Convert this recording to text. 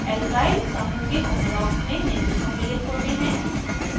alkyl समूह के homologues में निम्न सम्मिलित होते हैं